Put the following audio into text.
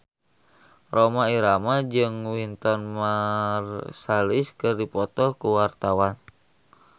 Rhoma Irama jeung Wynton Marsalis keur dipoto ku wartawan